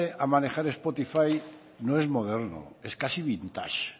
a manejar spotify no es moderno es casi vintage